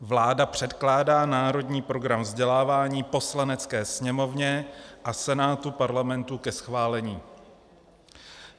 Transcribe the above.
Vláda předkládá Národní program vzdělávání Poslanecké sněmovně a Senátu Parlamentu ke schválení.